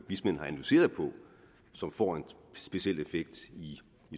som får en speciel effekt i